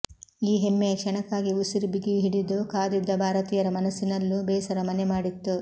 ಈ ಹೆಮ್ಮೆಯ ಕ್ಷಣಕ್ಕಾಗಿ ಉಸಿರುಬಿಗುಹಿಡಿದು ಕಾದಿದ್ದ ಭಾರತೀಯರ ಮನಸ್ಸಿನಲ್ಲೂ ಬೇಸರ ಮನೆ ಮಾಡಿತ್ತು